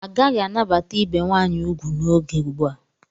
Agaghị anabata ibe nwaanyị ugwu n'oge ugbu a.